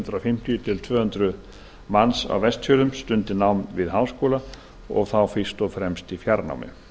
hundrað fimmtíu til tvö hundruð manns á vestfjörðum stundi nám við háskóla og þá fyrst og fremst í fjarnámi